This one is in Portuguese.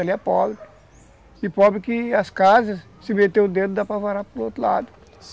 E pobre que as casas, se meter o dedo, dá para varar para o outro lado.